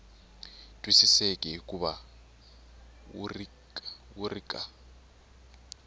twisiseki hikuva wu ri ka